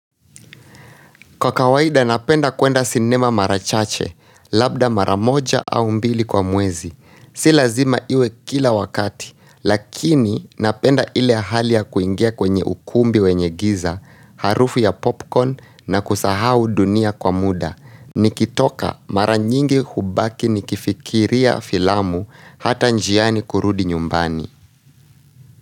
Kwa kawaida napenda kuenda sinema mara chache, labda mara moja au mbili kwa mwezi. Si lazima iwe kila wakati, lakini napenda ile hali ya kuingia kwenye ukumbi wenye giza, harufu ya popcorn na kusahau dunia kwa muda. Nikitoka mara nyingi hubaki nikifikiria filamu hata njiani kurudi nyumbani.